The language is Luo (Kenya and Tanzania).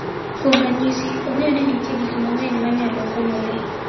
Kuom ranyisi, ong'eyo ni nitie gik mang'eny ma nyalo konyo le.